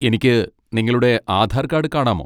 എനിക്ക് നിങ്ങളുടെ ആധാർ കാർഡ് കാണാമോ?